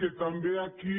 que també aquí